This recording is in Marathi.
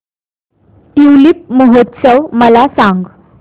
ट्यूलिप महोत्सव मला सांग